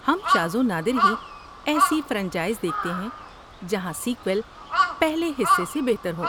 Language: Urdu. ہم شاذ و نادر ہی ایسی فرنچائز دیکھتے ہیں جہاں سیکوئل پہلے حصے سے بہتر ہو۔